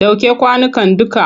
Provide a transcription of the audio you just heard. Ɗauke kwanukan dukka!